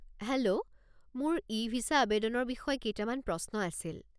Hello, মোৰ e visa আৱেদনৰ বিষয়ে কেইটামান প্ৰশ্ন আছিল।